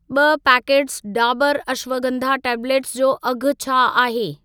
ॿ packets Dabur ashwagandha tablets जो अघि छा आहे?